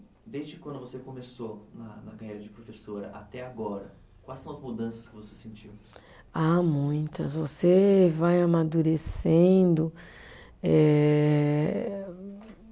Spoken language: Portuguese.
Desde quando você começou na na carreira de professora até agora, quais são as mudanças que você sentiu? Ah, muitas, você vai amadurecendo eh